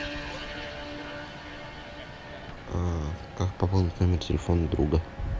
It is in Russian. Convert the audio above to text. как пополнить номер телефона друга